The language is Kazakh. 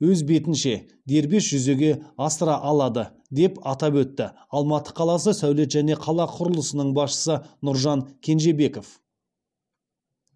өз бетінше дербес жүзеге асыра алады деп атап өтті алматы қаласы сәулет және қала құрылысының басшысы нұржан кенжебеков